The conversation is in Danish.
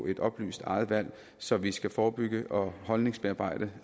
et oplyst eget valg så vi skal forebygge og holdningsbearbejde